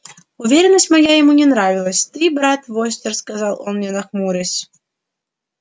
уверенность моя ему не понравилась ты брат востёр сказал он мне нахмурясь